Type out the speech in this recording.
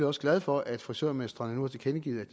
også glad for at frisørmestrene nu har tilkendegivet at